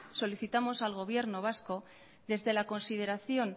solicitamos al gobierno vasco desde la consideración